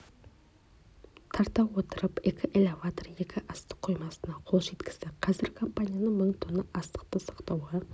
тарта отырып екі элеватор екі астық қоймасына қол жеткізді қазір компанияның мың тонна астықты сақтауға